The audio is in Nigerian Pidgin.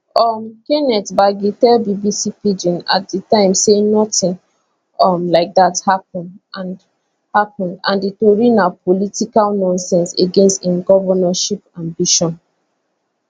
um kenneth gbagi tell bbc pidgin at di time say notin um like dat happun and happun and di tori na political nonsense against im govnorship ambition